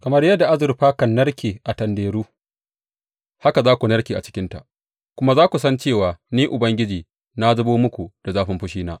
Kamar yadda azurfa kan narke a tanderu, haka za ku narke a cikinta, kuma za ku san cewa Ni Ubangiji na zubo muku da zafin fushina.’